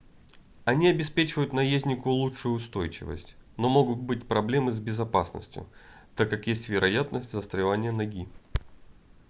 они обеспечивают наезднику лучшую устойчивость но могут быть проблемы с безопасностью так как есть вероятность застревания ноги